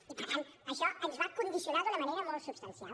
i per tant això ens va condicionar d’una manera molt substancial